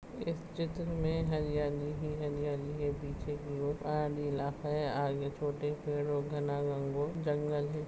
इस चित्र में हरियाली ही हरियाली है पीछे की और नीला है आगे छोटे पेड़ और घना गंगो- जंगल है।